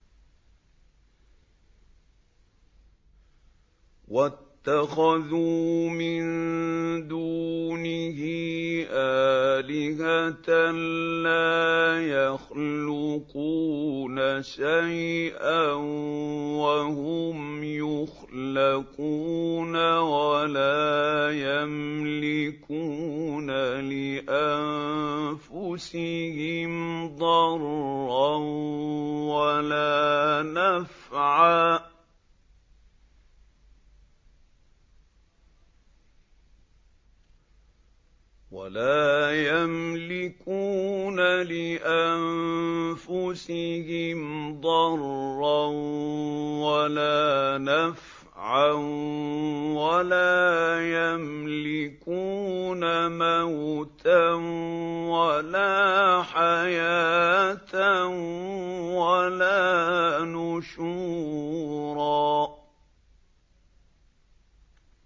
وَاتَّخَذُوا مِن دُونِهِ آلِهَةً لَّا يَخْلُقُونَ شَيْئًا وَهُمْ يُخْلَقُونَ وَلَا يَمْلِكُونَ لِأَنفُسِهِمْ ضَرًّا وَلَا نَفْعًا وَلَا يَمْلِكُونَ مَوْتًا وَلَا حَيَاةً وَلَا نُشُورًا